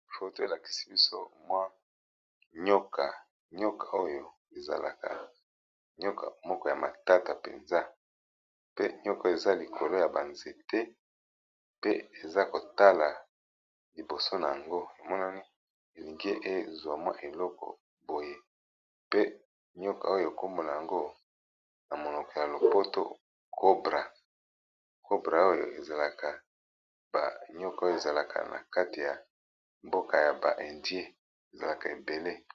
Photo elakisi biso mwa nyoka, nyoka oyo ezalaka matata mpenza pe nyoko eza likolo ya banzete pe eza kotala liboso na yango emonani elingi ezwa mwa eloko boye pe nyoka oyo kombo na yango na monoko ya lopoto cobra, cobra oyo ezalaka banyoka oyo ezalaka na kati ya mboka ya ba indien ezalaka ebele.